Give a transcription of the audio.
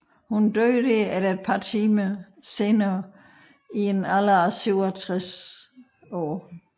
Hun døde der et par timer senere i en alder af 57 år